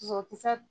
Dusukun tɛ